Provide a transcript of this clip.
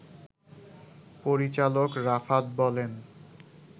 পরিচালক রাফাত বলেন